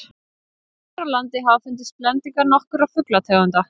hér á landi hafa fundist blendingar nokkurra fuglategunda